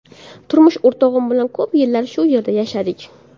Turmush o‘rtog‘im bilan ko‘p yillar shu yerda yashadik.